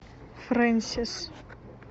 фрэнсис